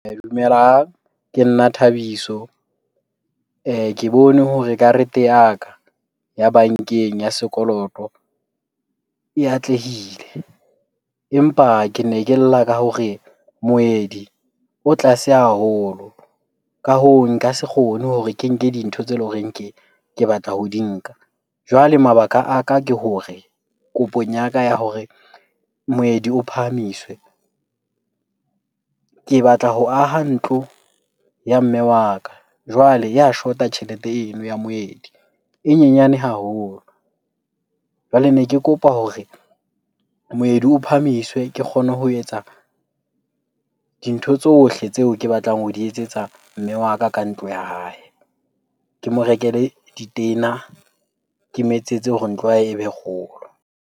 Dumelang, ke nna Thabiso. Ke bone hore karete ya ka ya bankeng ya sekoloto e atlehile empa kene ke lla ka hore moedi o tlase haholo. Ka hoo, nka se kgone hore ke nke dintho tse leng hore ke batla ho di nka. Jwale mabaka a ka ke hore kopong ya ka ya hore moedi o phahamiswe. Ke batla ho aha ntlo ya mme wa ka jwale ya shota tjhelete eno ya moedi, e nyenyane haholo. Jwale ne ke kopa hore moedi o phahamiswe ke kgone ho etsa dintho tsohle tseo ke batlang ho di etsetsa mme wa ka ka ntlo ya hae. Ke mo rekele ditena, ke mo etsetse hore ntlo ya hae e be kgolo.